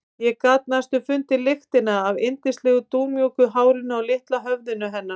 Ég gat næstum fundið lyktina af yndislegu dúnmjúku hárinu á litla höfðinu hennar.